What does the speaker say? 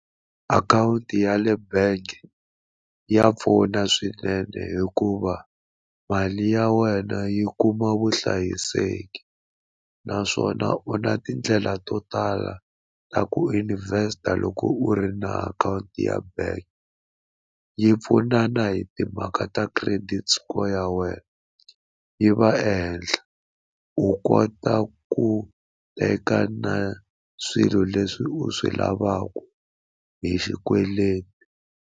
Akhawunti ya le bank ya pfuna swinene hikuva mali ya wena yi kuma vuhlayiseki naswona u na tindlela to tala ta ku invest-a loko u ri na akhawunti ya bank yi pfunana hi timhaka ta credit score ya wena yi va ehenhla u kota ku teka na swilo leswi u swi lavaka hi xikweleti.